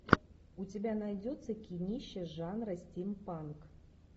у тебя найдется кинище жанра стимпанк